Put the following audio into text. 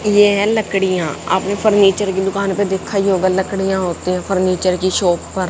ये हैं लकड़ियां आपने फर्नीचर की दुकान पे देखा ही होगा लकड़ियां होती है फर्नीचर की शॉप पर--